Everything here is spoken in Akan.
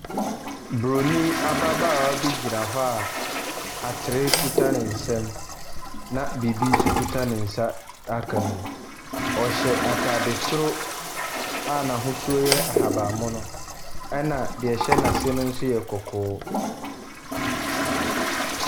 Buroni ababaawa bi gyina hɔ a atere kuta ne nsam na biribi nso kita ne nsa a aka no mu. Ɔhyɛ atade soro a n'ahosuo yɛ ahaban mono, ɛnna deɛ ɛhyɛ no ase no nso yɛ kɔkɔɔ.